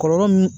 Kɔlɔlɔ min